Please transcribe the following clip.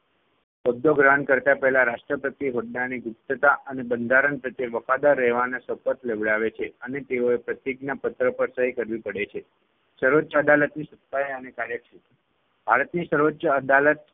હોદ્દો ગ્રહણ કરતા પહેલા રાષ્ટ્રપતિ હોદ્દાની ગુપ્તતા અને બંધારણ પ્રત્યે વફાદાર રહેવાના શપથ લેવડાવે છે અને તેઓએ પ્રતિજ્ઞાપત્ર પર સહી કરવી પડે છે. સર્વોચ્ય અદાલતની સત્તાઓ અને કાર્યક્ષેત્ર ભારતની સર્વોચ્ય અદાલત